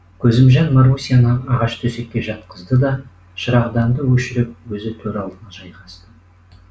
көзімжан марусяны ағаш төсекке жатқызды да шырағданды өшіріп өзі төр алдына жайғасты